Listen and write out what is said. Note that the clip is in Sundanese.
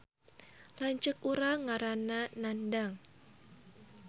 Lanceuk urang ngaranna Nandang